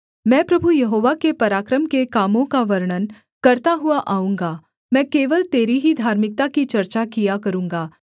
मैं प्रभु यहोवा के पराक्रम के कामों का वर्णन करता हुआ आऊँगा मैं केवल तेरी ही धार्मिकता की चर्चा किया करूँगा